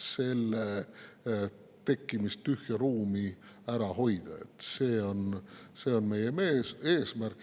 See on meie eesmärk.